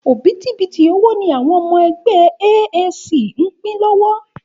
Òbítíbitì owó ni àwọn ọmọ ẹgbẹ́ AAC ń pín lọ́wọ́.